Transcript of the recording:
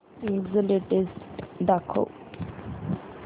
ईबझ लेटेस्ट दाखव